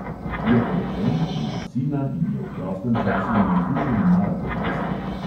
Je poročen, ima sina in je v prostem času navdušen maratonec.